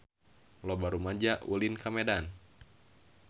Loba rumaja ulin ka Medan